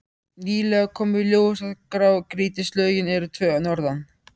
Nýlega kom í ljós að grágrýtislögin eru tvö norðan